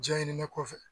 Jaɲin kɔfɛ